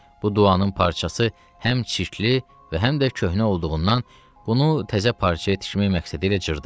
Bu duanın parçası həm çirkli və həm də köhnə olduğundan bunu təzə parçaya tikmək məqsədi ilə cırdı.